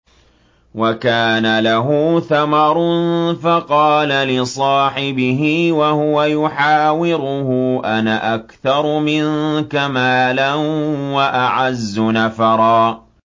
وَكَانَ لَهُ ثَمَرٌ فَقَالَ لِصَاحِبِهِ وَهُوَ يُحَاوِرُهُ أَنَا أَكْثَرُ مِنكَ مَالًا وَأَعَزُّ نَفَرًا